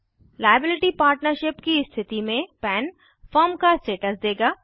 liability partnership सीमित दायित्व साझेदारी की स्थिति में पन फर्म का स्टेटस देगा